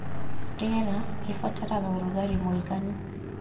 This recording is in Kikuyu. Rĩera - Rĩbataraga ũrugarĩ mũiganu